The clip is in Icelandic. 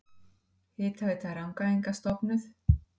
Hitaveita Rangæinga stofnuð.